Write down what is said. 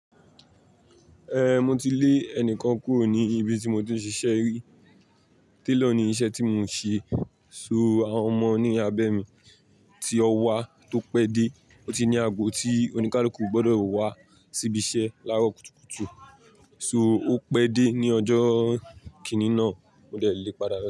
Eh, mo ti lé ẹnìkan kúrò ní ibi tí mo ti ń ṣiṣẹ́ rí. Tailor ni iṣẹ́ tí mo ń ṣe. So àwọn ọmọ ní abẹ́ mi tí ọ wá tó pẹ́ dé, ó ti ní ago tí oníkálukú gbọdọ̀ wá síbi iṣẹ́ lárò kùtùkùtù, so ó pẹ́ dé ní ọjọ́ kíní náà, mo dẹ̀ lé padà.